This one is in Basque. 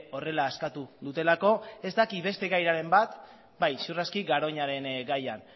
horrela eskatu dutelako ez dakit beste gairen bat bai ziur aski garoñaren gaian